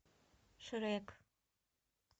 шрек